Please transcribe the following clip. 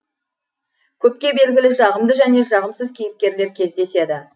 көпке белгілі жағымды және жағымсыз кейіпкерлер кездеседі